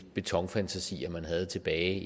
betonfantasier man havde tilbage i